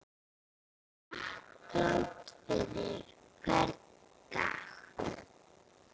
Þakklát fyrir hvern dag.